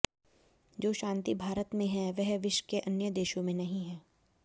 जो शांति भारत में है वह विश्व के अन्य देशों में नहीं है